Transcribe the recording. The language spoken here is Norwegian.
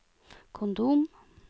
kondom